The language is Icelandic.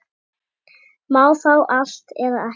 Má fá allt, eða ekkert.